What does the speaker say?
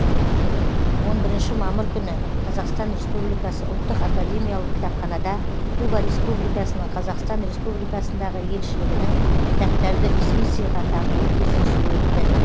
он бірінші мамыр күні қазақстан республикасы ұлттық академиялық кітапханада куба республикасының қазақстан республикасындағы елшілігінің кітаптарды ресми сыйға тартуы кездесуі өтті